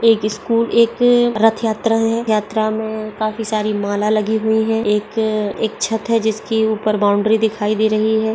एक स्कुल एक रथ यात्रा है। यात्रा में काफी सारी माला लगी हुई हैं। एक एक छत है। जिसके ऊपर बाउंड्री दिखाई दे रही है।